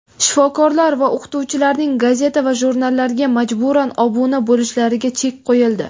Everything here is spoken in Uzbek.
shifokorlar va o‘qituvchilarning gazeta va jurnallarga majburan obuna bo‘lishlariga chek qo‘yildi.